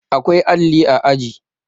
awkai alli a aji